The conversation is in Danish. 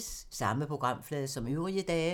Samme programflade som øvrige dage